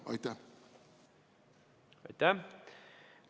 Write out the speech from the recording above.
Aitäh!